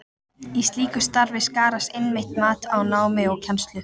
Í slíku starfi skarast einmitt mat á námi og kennslu.